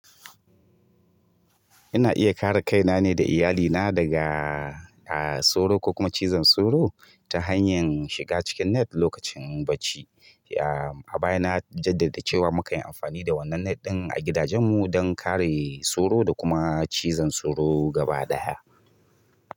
Ina iya kare kaina ne da iyalina daga, a, soro ko kuma cizon soro ta hanyar shiga cikin net lokacin bacci. A baya na jaddada cewa muka yi amfani da wannan net ɗin a gidajenmu don kare soro da kuma cizon soro gaba ɗaya.